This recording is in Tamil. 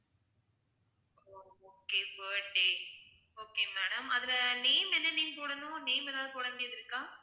okay birthday okay madam அதுல name என்ன name போடணும் name ஏதாவது போடவேண்டியது இருக்கா?